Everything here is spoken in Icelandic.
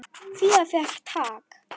Fía fékk tak.